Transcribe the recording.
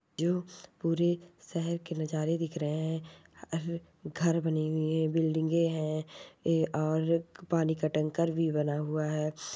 जो पूरे सहर के नजारे दिख रहा है हर घर बने हुए है बिल्डिंग है और पानी काम टकर भी बना हुआ है।